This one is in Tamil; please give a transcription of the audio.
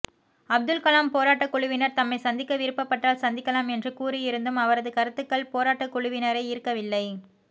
அப்துல் கலாம் போராட்டக் குழுவினர் தம்மை சந்திக்க விருப்பப்பட்டால் சந்திக்கலாம் என்று கூறியிருந்தும் அவரது கருத்துக்கள் போராட்டக்குழுவினரை ஈர்க்கவில்லை